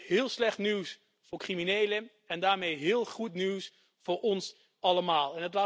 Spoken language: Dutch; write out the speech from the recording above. Dat is heel slecht nieuws voor criminelen en daarmee heel goed nieuws voor ons allemaal.